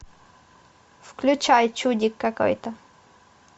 включай чудик какой то